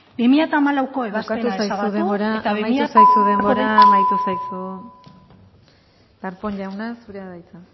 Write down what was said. bi mila hamalauko ebazpena ezabatu eta amaitu zaizu denbora amaitu zaizu denbora amaitu zaizu darpón jauna zurea da hitza